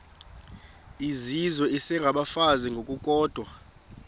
izizwe isengabafazi ngokukodwa